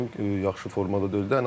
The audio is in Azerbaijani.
Yaxşı formada deyildi.